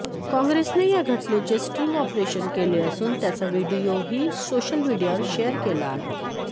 काँग्रेसने या घटनेचे स्टिंग ऑपरेशन केले असून त्याचा व्हिडीओही सोशल मीडियावर शेअर केला आहे